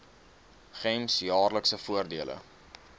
gems jaarlikse voordele